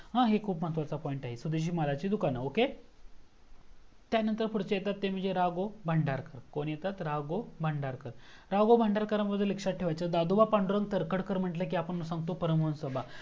हा हे खूप महत्वाचा point आहे स्वदेशी महाराजांचे दुकान त्यानंतर पुढचे येतात ते म्हणजे राघव भांडारकर कोण येतात. राघव भांडारकर राघव भांडारकर बद्दल हे लक्ष्यात ठेवायचा दादोबा पादुरंग तरखडकर म्हणजे. आपण सांगतो परम हंस सभा